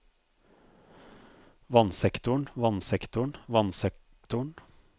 vannsektoren vannsektoren vannsektoren